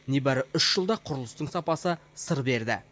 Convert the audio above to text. небәрі үш жылда құрылыстың сапасы сыр берді